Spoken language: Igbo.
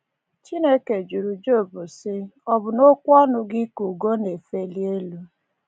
Chineke jụrụ Job sị: “Ọ bụ n’okwu ọnụ gị ka ugo na-efeli elu? ”